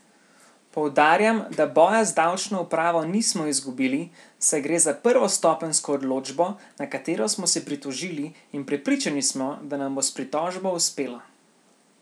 Poudarjam, da boja z davčno upravo nismo izgubili, saj gre za prvostopenjsko odločbo, na katero smo se pritožili, in prepričani smo, da nam bo s pritožbo uspelo!